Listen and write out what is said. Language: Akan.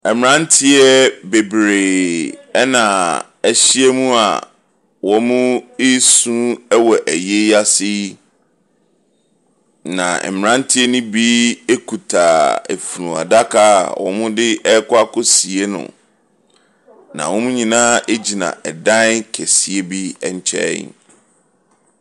Mmranteɛ bebree ɛna ahyia mu a, wɔn ɛresu wɔ ayie ase yi. Na mmaranteɛ no bi kuta efunuadaka wɔderekɔ sie no. na wɔn nyinaa gyina dan kɛseɛ bi nkyɛn.